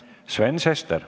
Sven Sester.